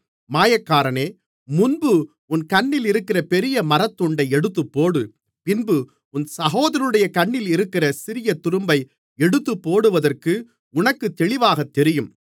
மாயக்காரனே முன்பு உன் கண்ணிலிருக்கிற பெரிய மரத்துண்டை எடுத்துப்போடு பின்பு உன் சகோதரனுடைய கண்ணிலிருக்கிற சிறிய துரும்பை எடுத்துப்போடுவதற்கு உனக்கு தெளிவாகத் தெரியும்